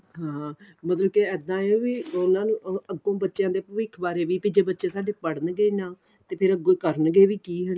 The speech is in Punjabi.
ਹਾਂ ਮਤਲਬ ਕੀ ਇੱਦਾਂ ਏ ਵੀ ਇੰਨਾ ਨੂੰ ਅੱਗੋ ਬੱਚਿਆਂ ਦੇ ਭਵਿੱਖ ਬਾਰੇ ਵੀ ਤੇ ਜੇ ਬੱਚੇ ਸਾਡੇ ਪੜਨ ਗੇ ਨਾ ਤੇ ਫੇਰ ਅੱਗੋ ਕਰਨਗੇ ਵੀ ਕੀ